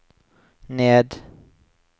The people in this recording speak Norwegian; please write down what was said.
ned